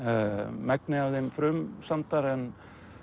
megnið af þeim frumsamdar en